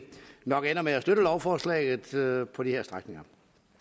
nok ender med at støtte lovforslaget på de her strækninger